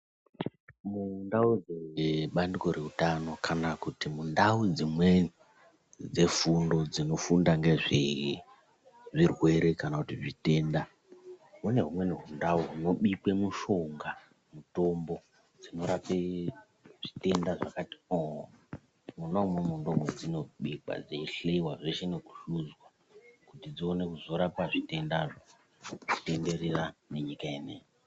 Mundau dzebandiko reutano kana kuti mundau dzimweni dzefundo dzinofunda ngezvezvirwere kana kuti zvitenda, mune humweni hundau hunobikwe mushonga , mutombo dzinorape zvitenda zvakati ooooh, munomu ndimo madzinobikwa dzeyihleyiwa, zveshe nokuhluzwa, kuti dziwane kuzorapa zvitendazvo ,kutenderera nenyika ineyi.